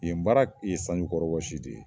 Yen baara ye sanjukɔrɔ wɔsi de ye